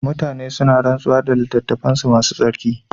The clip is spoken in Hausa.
Mutane suna rantsuwa da littattafansu masu tsarki.